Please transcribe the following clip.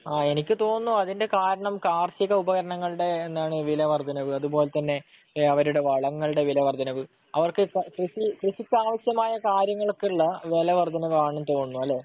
ആ എനിക്ക് തോന്നുന്നു അതിന്റെ കാരണം കാർഷിക ഉപകരണങ്ങളുടെ എന്താണ് വിലവർദ്ധനവ്, അതുപോലെതന്നെ അവരുടെ വളങ്ങളുടെ വിലവർദ്ധനവ്, അവർക്ക് കൃഷി, കൃഷിക്കാവശ്യമായ കാര്യങ്ങൾക്കുള്ള വിലവർദ്ധനവ് ആണെന്നു തോന്നുന്നു. അല്ലേ?